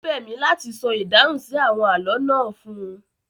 Ó bẹ̀ mí láti sọ ìdáhùn sí àwọn àlọ́ náà fún